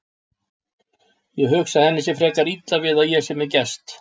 Ég hugsa að henni sé frekar illa við að ég sé með gest.